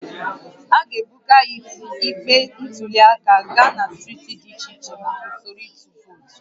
A ga-ebuga igbe ntụli aka gaa na steeti dị iche iche maka usoro ịtụ vootu